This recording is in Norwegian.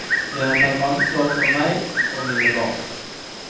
Jeg har tatt ansvar for meg og mine barn.